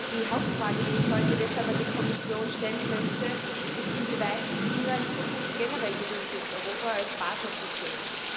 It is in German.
Die Hauptfrage, die ich heute deshalb an die Kommission stellen möchte, ist, inwieweit China in Zukunft generell gewillt ist, Europa als Partner zu sehen.